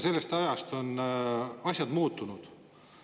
Sellest ajast on asjad muutunud.